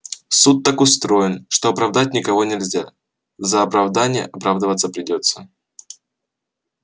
суд так устроен что оправдать никого нельзя за оправдание оправдываться придётся